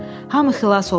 Hamı xilas olmuşdu.